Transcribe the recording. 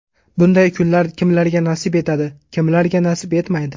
Bunday kunlar kimlarga nasib etadi, kimlarga nasib etmaydi.